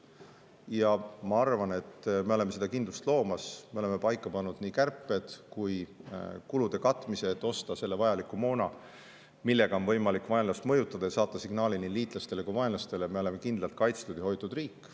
Ja ma arvan, et me oleme seda kindlust loomas: me oleme paika pannud nii kärped kui ka kulude katmise, et osta see vajalik moon, millega on võimalik vaenlast mõjutada ja saata nii liitlastele kui ka vaenlastele signaal, et me oleme kindlalt kaitstud ja hoitud riik.